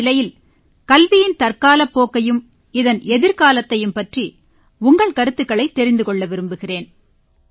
இந்த நிலையில் கல்வியின் தற்காலப் போக்கையும் இதன் எதிர்காலத்தையும் பற்றி உங்கள் கருத்துக்களைத் தெரிந்து கொள்ள விரும்புகிறேன்